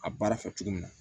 A baara fɛ cogo min na